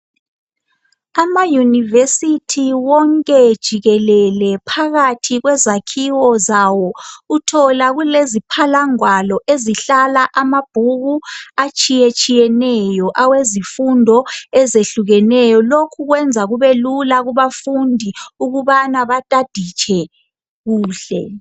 Amayunivesithi wonke jikelele phakathi kwezakhiwo zawo uthola kuleziphalangwalo ezihlala amabhuku atshiyetshiyeneyo awezifundo ezehlukeneyo. Lokhu kwenza ukubelula kubafundi ukubana bataditshe kuhle.